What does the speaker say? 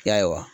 Ya